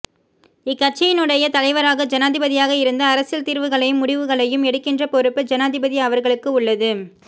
இக்கட்சியினுடைய தலைவராக ஜனாதிபதியாக இருந்து அரசியல் தீர்வுகளையும் முடிவுகளையும் எடுக்கின்ற பொறுப்பு ஜனாதிபதி அவர்களுக்கு உள்ளது